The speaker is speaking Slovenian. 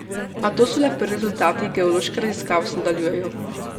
A to so le prvi rezultati, geološke raziskave se nadaljujejo.